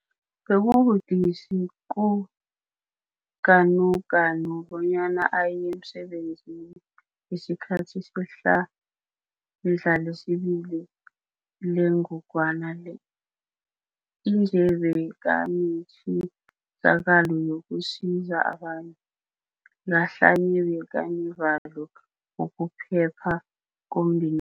Bekubudisi kuGanuganu bona aye emsebenzini ngesikhathi sehlandla lesibili lengogwana le. Ije bekanetjisakalo yo kusiza abanye, ngahlanye bekanevalo ngokuphepha komndenakhe.